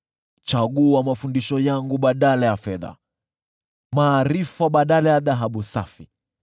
Chagua mafundisho yangu badala ya fedha, maarifa badala ya dhahabu safi,